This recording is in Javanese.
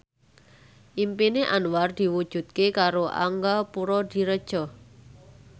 impine Anwar diwujudke karo Angga Puradiredja